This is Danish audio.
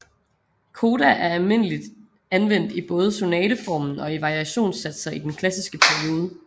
Coda er almindeligt anvendt i både sonateformen og i variationssatser i den klassiske periode